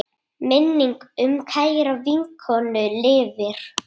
Minning um kæra vinkonu lifir.